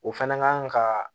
O fɛnɛ kan ka